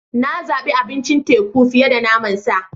Na zabi abincin teku fiye da naman sa.